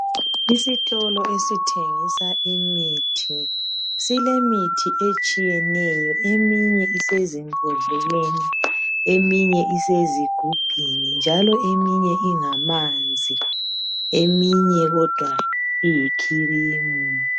isitolo esithengisa imithi sile mithi etshiyeneyo ezimbodleleni lasezigubhini eminye ingamanzi eminye kodwa iyicream